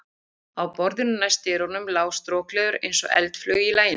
Á borðinu næst dyrunum lá strokleður, eins og eldflaug í laginu.